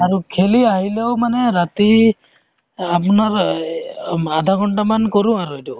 আৰু খেলি আহিলেও মানে ৰাতি আপোনাৰ এই আধাঘন্তা মান কৰো আৰু এইটো